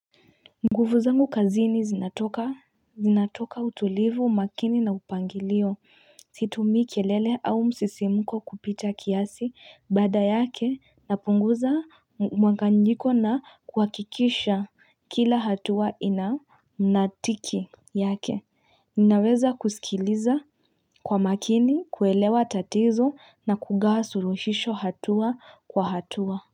Nguvu zangu kazini zinatoka Zinatoka utulivu, makini na upangilio, situmii kelele au msisimuko kupita kiasi baada yake napunguza mwanganyiko na kuhakikisha kila hatua ina mnatiki yake Ninaweza kusikiliza kwa makini kuelewa tatizo na kugawa suluhisho hatua kwa hatua.